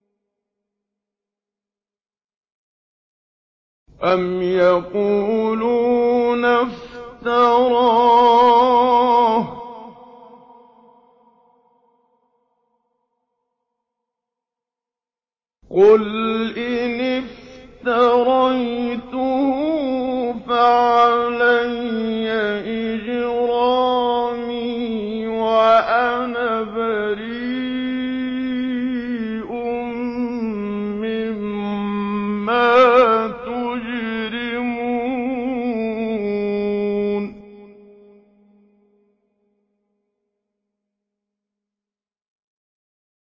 أَمْ يَقُولُونَ افْتَرَاهُ ۖ قُلْ إِنِ افْتَرَيْتُهُ فَعَلَيَّ إِجْرَامِي وَأَنَا بَرِيءٌ مِّمَّا تُجْرِمُونَ